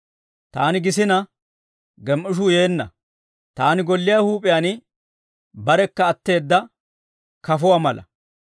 Taani gisina, gem"ishuu yeenna; taani golliyaa huup'iyaan barekka utteedda kafuwaa mala.